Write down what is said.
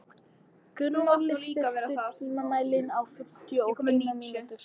Gunnóli, stilltu tímamælinn á fimmtíu og eina mínútur.